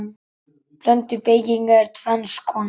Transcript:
Blönduð beyging er tvenns konar